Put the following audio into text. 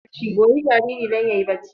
Goyi jariri don barci!